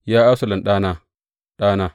Ya Absalom ɗana, ɗana!